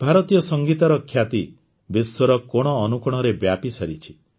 ଭାରତୀୟ ସଂଗୀତର ଖ୍ୟାତି ବିଶ୍ୱର କୋଣଅନୁକୋଣରେ ବ୍ୟାପିସାରିଛି